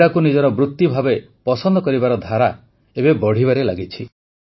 କ୍ରୀଡ଼ାକୁ ନିଜର ବୃତି ଭାବେ ପସନ୍ଦ କରିବାର ଧାରା ବଢ଼ିବାରେ ଲାଗିଛି